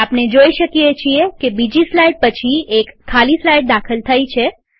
આપણે જોઈ શકીએ છીએ કે બીજી સ્લાઈડ પછી એક ખાલી સ્લાઈડ દાખલ થઇ છે